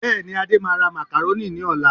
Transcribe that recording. Bẹ́ẹ̀ni, Adé máa ra macaroni ní ọ̀la